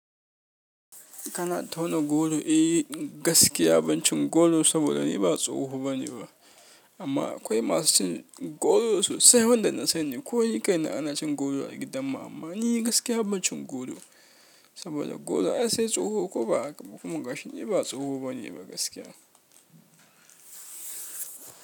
Kana tauna goro? Eh, gaskiya ban cin godo saboda ni ba tsoho bane ba. Amma akwai masu cin goro sosai wanda na sani ko ni kaina ana cin goro a gidan mu amma. Ni gaskiya ban cin goro, saboda goro ai sai tsoho ko ba haka ba? Kuma gashi ni ba tsoho bane ba gaskiya.